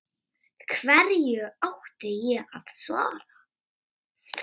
Hverju átti ég að svara.